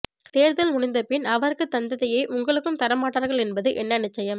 தேர்தல் முடிந்தபின் அவருக்குத் தந்ததையே உங்களுக்கும் தரமாட்டார்கள் என்பது என்ன நிச்சயம்